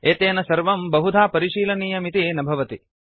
एतेन सर्वं बहुधा परिशीलनीयमिति न भवति